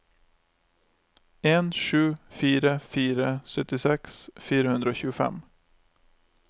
en sju fire fire syttiseks fire hundre og tjuefem